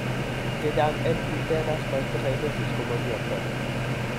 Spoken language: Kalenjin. Chechang en cutaneous mastocytosis komokiyoptoi